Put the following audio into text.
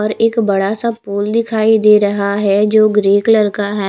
और एक बड़ासा पूल दिखाई दे रहा है जो ग्रे कलर का है।